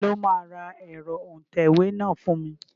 Ta ló máa ra ẹ̀rọ òǹtẹ̀wé náà fún mi?